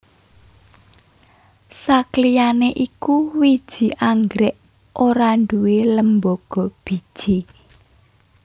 Sakliyané iku wiji anggrèk ora nduwé lembaga biji